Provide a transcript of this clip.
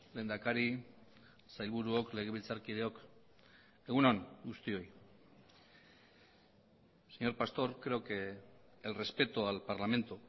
lehendakari sailburuok legebiltzarkideok egun on guztioi señor pastor creo que el respeto al parlamento